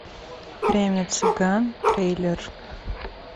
время цыган трейлер